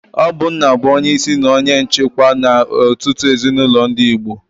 Ọ bu nna bu onye isi na onye nchikwa n'ọtụtụ ezinulo ndi Igbo.